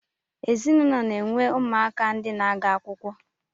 Ezinụlọ na-enwe ụmụaka ndi na-aga akwụkwọ